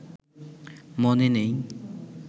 মনে নেই